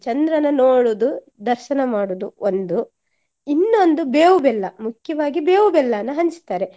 ಚಂದ್ರನ ನೋಡುದು ದರ್ಶನ ಮಾಡುದು ಒಂದು, ಇನ್ನೊಂದು ಬೇವು ಬೆಲ್ಲ ಮುಕ್ಯವಾಗಿ ಬೇವು ಬೆಲ್ಲನ ಹಂಚ್ತಾರೆ.